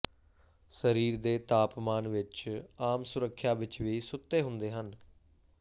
ਸਰੀਰ ਦੇ ਤਾਪਮਾਨ ਵਿਚ ਆਮ ਸੁੱਰਖਿਆ ਵਿਚ ਵੀ ਸੁੱਤੇ ਹੁੰਦੇ ਹਨ